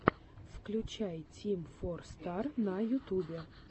включай тим фор стар на ютубе